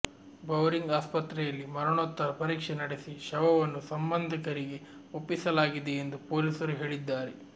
Bowring ಆಸ್ಪತ್ರೆಯಲ್ಲಿ ಮರಣೋತ್ತರ ಪರೀಕ್ಷೆ ನಡೆಸಿ ಶವವನ್ನು ಸಂಬಂಧಿಕರಿಗೆ ಒಪ್ಪಿಸಲಾಗಿದೆ ಎಂದು ಪೊಲೀಸರು ಹೇಳಿದ್ದಾರೆ